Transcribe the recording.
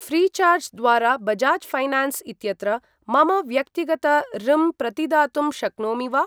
Freecharge द्वारा Bajaj finance इत्यत्र मम व्यक्तिगत ऋम् प्रतिदातुं शक्नोमि वा?